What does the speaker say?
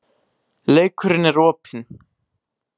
Leikurinn er opinn